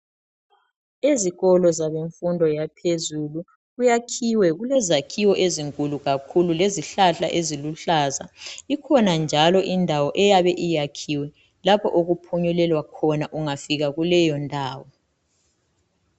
Ezikolo zemfundo yaphezulu kuyakhiwe, kulezakhiwo ezinkulu kakhulu lezihlahla eziluhlaza. Ikhona njalo indawo eyabe iyakhiwe lapho okuphunyulelwa khona ungafika kuleyo ndawo.